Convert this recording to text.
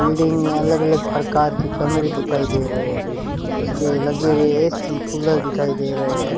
Building में अलग अलग प्रकार की कमरे दिखाई दे रहे हैं उसे पे लगे हुए ए_सी कूलर दिखाई दे रहे हैं।